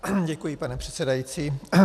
Děkuji, pane předsedající.